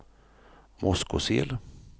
Moskosel